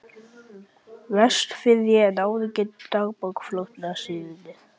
Vestfirði en áður er getið í dagbók flotastjórnarinnar